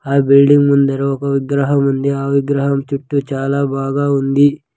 ఆ బిల్డింగ్ ముందర ఒక విగ్రహం ఉంది ఆ విగ్రహం చుట్టూ చాలా బాగా ఉంది.